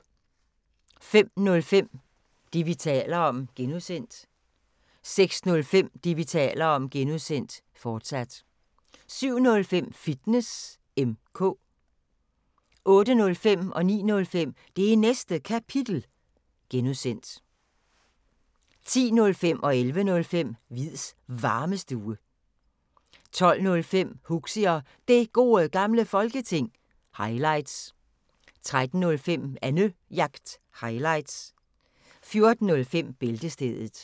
05:05: Det, vi taler om (G) 06:05: Det, vi taler om (G), fortsat 07:05: Fitness M/K 08:05: Det Næste Kapitel (G) 09:05: Det Næste Kapitel (G) 10:05: Hviids Varmestue 11:05: Hviids Varmestue 12:05: Huxi og Det Gode Gamle Folketing – highlights 13:05: Annejagt – highlights 14:05: Bæltestedet